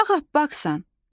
Ağappaqsansan, qar qızı olsun.